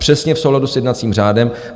Přesně v souladu s jednacím řádem.